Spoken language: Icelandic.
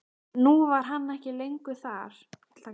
Nú var hann ekki lengur þar.